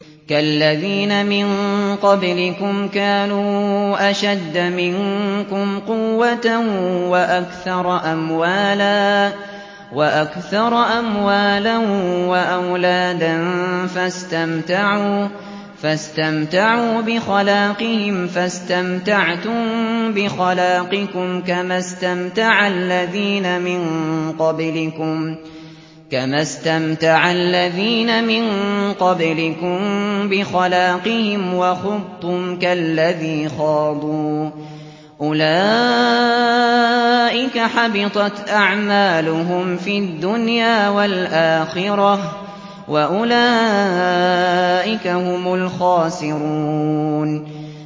كَالَّذِينَ مِن قَبْلِكُمْ كَانُوا أَشَدَّ مِنكُمْ قُوَّةً وَأَكْثَرَ أَمْوَالًا وَأَوْلَادًا فَاسْتَمْتَعُوا بِخَلَاقِهِمْ فَاسْتَمْتَعْتُم بِخَلَاقِكُمْ كَمَا اسْتَمْتَعَ الَّذِينَ مِن قَبْلِكُم بِخَلَاقِهِمْ وَخُضْتُمْ كَالَّذِي خَاضُوا ۚ أُولَٰئِكَ حَبِطَتْ أَعْمَالُهُمْ فِي الدُّنْيَا وَالْآخِرَةِ ۖ وَأُولَٰئِكَ هُمُ الْخَاسِرُونَ